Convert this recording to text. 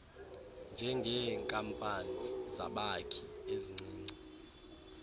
njengeenkampani zabakhi ezincinci